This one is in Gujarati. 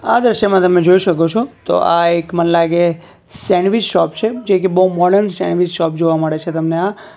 આ દ્રશ્યમાં તમે જોઈ શકો છો તો આ એક મન લાગે સેન્ડવીચ શોપ છે જે કે બહુ મોર્ડન સેન્ડવીચ શોપ જોવા મળે છે તમને આ.